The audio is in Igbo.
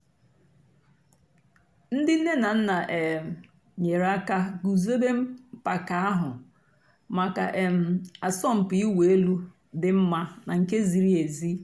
ǹdí nnè nà nnà um nyèrè àkà gùzòbè mpàka àhụ̀ mǎká um àsọ̀mpị̀ ị̀wụ̀ èlù dì́ mma nà nke zìrì èzí.